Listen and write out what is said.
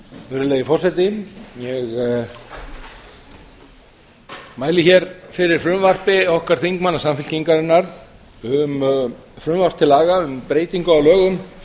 virðulegi forseti ég mæli fyrir frumvarpi okkar þingmanna samfylkingarinnar frumvarpi til laga um breytingu á lögum